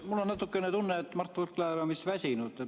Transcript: Mul on natukene tunne, et Mart Võrklaev on vist väsinud.